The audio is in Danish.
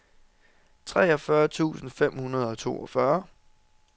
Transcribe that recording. treogfyrre tusind fem hundrede og toogfyrre